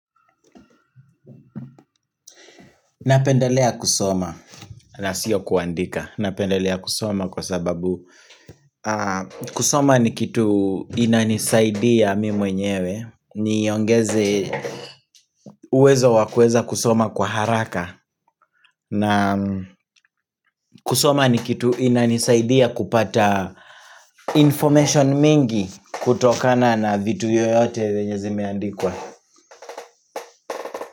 Napendelea kusoma na sio kuandika, napendelea kusoma kwa sababu kusoma ni kitu inanisaidia mimi mwenyewe niongeze uwezo wakueza kusoma kwa haraka na kusoma ni kitu inanisaidia kupata information mingi kutokana na vitu yoyote vyenye zimeandikwa.